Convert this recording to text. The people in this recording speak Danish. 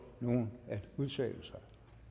nogen at udtale sig